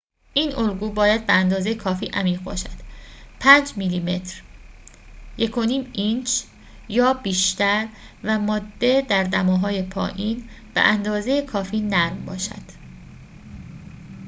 این الگو باید به‌اندازه کافی عمیق باشد، 5 میلیمتر 1/5 اینچ یا بیشتر و ماده در دماهای پایین، به‌ اندازه کافی نرم باشد